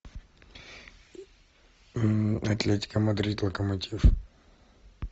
атлетика мадрид локомотив